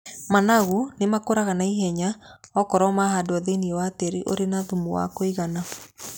Managu nĩ makũraga na ihenya okorwo marahandwo thĩiniĩ wa tĩĩri ũrĩ na thumu wa kũigana.